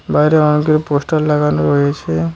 বাইরে অনেকগুলি পোস্টার লাগানো রয়েছে।